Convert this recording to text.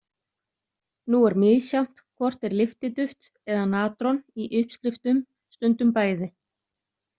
Nú er misjafnt hvort er lyftiduft eða natron í uppskriftum stundum bæði.